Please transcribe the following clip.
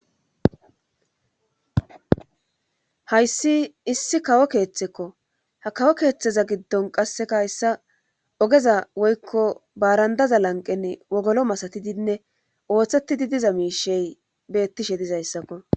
Hayssi issi kawo keeththekko ha kawo keeththeza giddon qasseka hayssa ogeza woykko baarandaza lanqenne wogolo masatidinne ooththetidi diza miishey beettishe dizayssakko